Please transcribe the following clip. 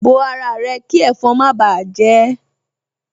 Bo ara rẹ kí ẹ̀fọn má báà jẹ ẹ́